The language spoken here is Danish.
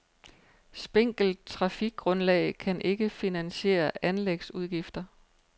Spinkelt trafikgrundlag kan ikke finansiere anlægsudgifter.